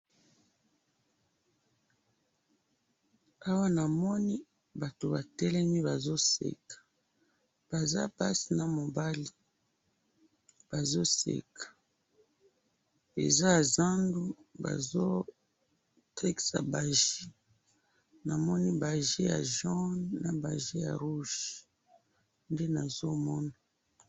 awa na moni batu ba telemi bazo seka baza basi na mobali bazo seka eza ya zandu bazo tekisa ba jus na moni ba jus ya jaune na rouge nde nazo mona